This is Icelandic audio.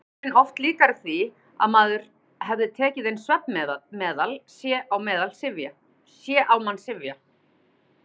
Áhrifin oft líkari því að maður hefði tekið inn svefnmeðal: sé á mann syfja.